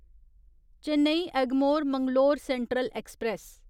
Chennai Egmore Mangalore central express